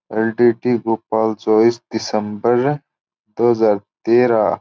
भोपाल चौबीस दिसम्बर दो हजार तेहरा --